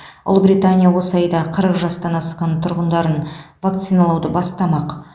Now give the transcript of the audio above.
ұлыбритания осы айда қырық жастан асқан тұрғындарын вакциналауды бастамақ